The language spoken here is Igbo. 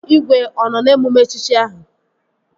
Igwe ọ nọ n'emume echichi ahụ?